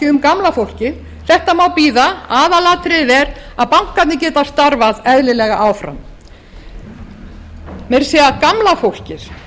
um gamla fólkið þetta má bíða aðalatriðið er að bankarnir geti starfað eðlilega áfram meira að segja gamla fólkið